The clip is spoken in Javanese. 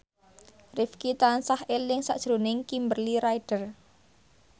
Rifqi tansah eling sakjroning Kimberly Ryder